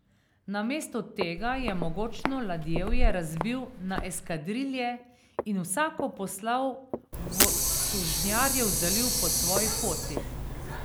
Namesto tega je mogočno ladjevje razbil na eskadrilje in vsako poslal v Sužnjarjev zaliv po svoji poti.